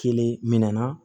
Kelen minɛna